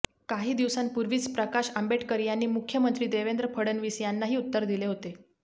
काही दिवसांपूर्वीच प्रकाश आंबेडकर यांनी मुख्यमंत्री देवेंद्र फडणवीस यांनाही उत्तर दिले होते